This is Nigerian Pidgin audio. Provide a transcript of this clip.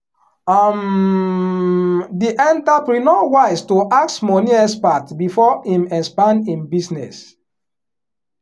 um di entrepreneur wise to ask money expert before him expand him business.